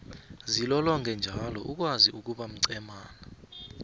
zilolonge njalo uzokwazi ukuba mcemana